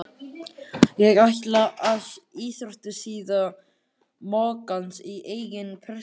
Ég ætla að sjá íþróttasíðu moggans í eigin persónu.